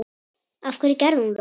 af hverju gerðir þú það?